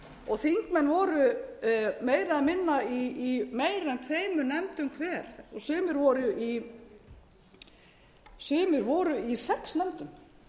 og þingmenn voru meira eða minna í tveimur nefndum hver og sumir voru í sex nefndum